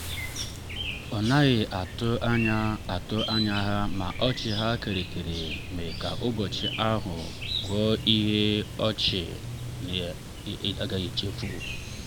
nleta mberede nleta mberede si n’aka nna ya butere mkparịta ụka ha ji oge ha eme.